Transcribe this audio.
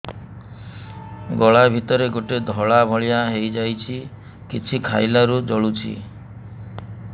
ଗଳା ଭିତରେ ଗୋଟେ ଧଳା ଭଳିଆ ହେଇ ଯାଇଛି କିଛି ଖାଇଲାରୁ ଜଳୁଛି